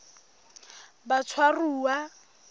batshwaruwa